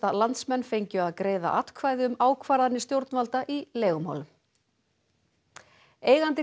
landsmenn fengju að greiða atkvæði um ákvarðanir stjórnvalda í leigumálum eigandi